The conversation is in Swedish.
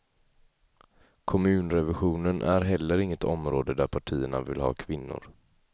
Kommunrevisionen är heller inget område där partierna vill ha kvinnor.